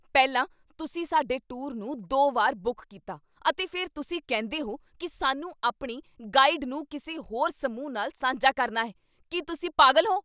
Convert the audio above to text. ਪਹਿਲਾਂ, ਤੁਸੀਂ ਸਾਡੇ ਟੂਰ ਨੂੰ ਦੋ ਵਾਰ ਬੁੱਕ ਕੀਤਾ ਅਤੇ ਫਿਰ ਤੁਸੀਂ ਕਹਿੰਦੇ ਹੋ ਕੀ ਸਾਨੂੰ ਆਪਣੀ ਗਾਈਡ ਨੂੰ ਕਿਸੇ ਹੋਰ ਸਮੂਹ ਨਾਲ ਸਾਂਝਾ ਕਰਨਾ ਹੈ। ਕੀ ਤੁਸੀਂ ਪਾਗਲ ਹੋ?